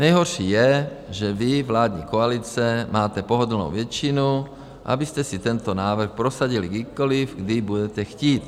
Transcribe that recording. Nejhorší je, že vy, vládní koalice, máte pohodlnou většinu, abyste si tento návrh prosadili kdykoliv, kdy budete chtít.